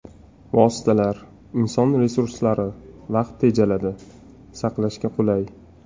Vositalar, inson resurslari, vaqt tejaladi, saqlashga qulay.